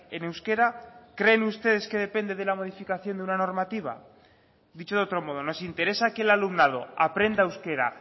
en euskera creen ustedes que depende de la modificación de una normativa dicho de otro modo nos interesa que el alumnado aprenda euskera